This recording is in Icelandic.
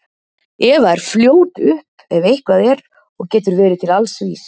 Eva er fljót upp ef eitthvað er og getur verið til alls vís.